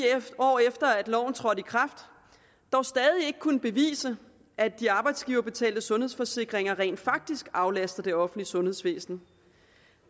år efter at loven trådte i kraft dog stadig ikke kunnet bevise at de arbejdsgiverbetalte sundhedsforsikringer rent faktisk aflaster det offentlige sundhedsvæsen